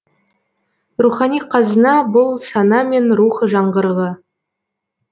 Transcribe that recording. рухани қазына бұл сана мен рух жаңғырығы